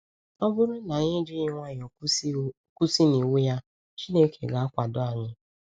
Ọ bụrụ na anyị ejighị nwayọ kwụsị n’iwu ya, Chineke ga-akwado anyị.